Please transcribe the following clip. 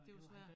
Det var svært